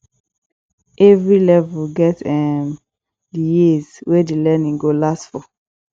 every level get um the years wey the learning go last for